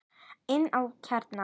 Inn að innsta kjarna.